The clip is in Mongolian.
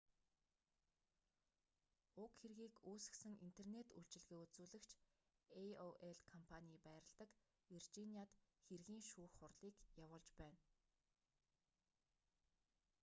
уг хэргийг үүсгэсэн интернет үйлчилгээ үзүүлэгч aol компаний байрладаг виржиниад хэргийн шүүх хурлыг явуулж байна